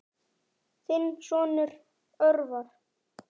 Þinn sonur, Örvar.